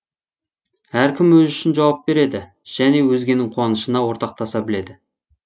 әркім өзі үшін жауап береді және өзгенің қуанышына ортақтаса біледі